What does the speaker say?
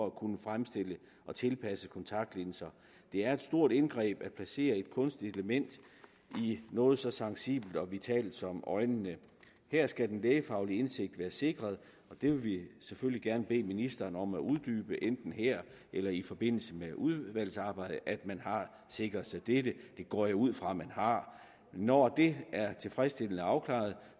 at kunne fremstille og tilpasse kontaktlinser det er et stort indgreb at placere et kunstigt element i noget så sensibelt og vitalt som øjet her skal den lægefaglige indsigt være sikret vi vil selvfølgelig gerne bede ministeren om at uddybe enten her eller i forbindelse med udvalgsarbejdet at man har sikret sig dette det går jeg ud fra at man har når det er tilfredsstillende afklaret